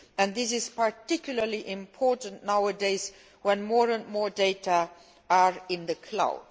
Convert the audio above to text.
This is particularly important nowadays, when more and more data are in the cloud.